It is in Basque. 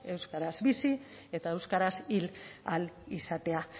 euskaraz bizi eta euskaraz hil ahal izatea